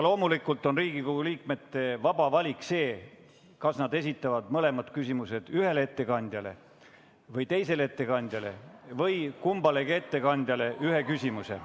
Loomulikult on Riigikogu liikmete vaba valik see, kas nad esitavad mõlemad küsimused ühele ettekandjale või mõlemale ettekandjale ühe küsimuse.